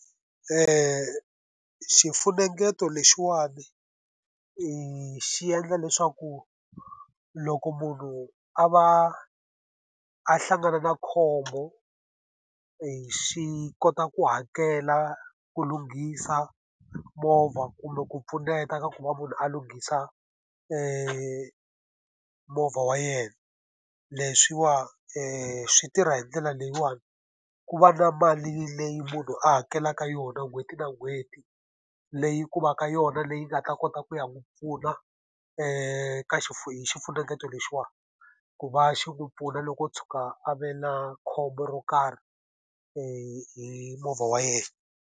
xifunengeto lexiwani xi endla leswaku loko munhu a va a hlangana na khombo, xi kota ku hakela ku lunghisa movha kumbe ku pfuneta ka ku va munhu a lunghisa movha wa yena. Leswiwani swi tirha hi ndlela leyiwani, ku va na mali leyi munhu a hakelaka yona n'hweti na n'hweti, leyi ku va ka yona leyi nga ta kota ku ya n'wi pfuna ka hi xifunengeto lexiwani. Ku va xi n'wi pfuna loko o tshuka a ve na khombo ro karhi hi movha wa yena.